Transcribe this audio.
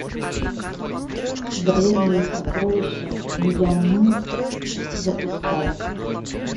древние сокровища мьянмы запускай